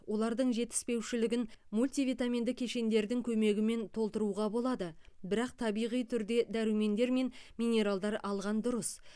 олардың жетіспеушілігін мультивитаминді кешендердің көмегімен толтыруға болады бірақ табиғи түрде дәрумендер мен минералдар алған дұрыс